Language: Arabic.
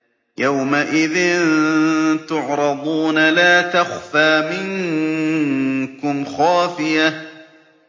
يَوْمَئِذٍ تُعْرَضُونَ لَا تَخْفَىٰ مِنكُمْ خَافِيَةٌ